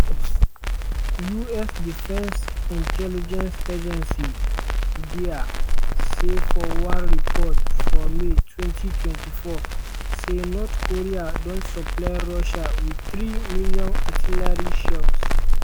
us defence intelligence agency (dia) say for one report for may 2024 say north korea don supply russia wit three million artillery shells.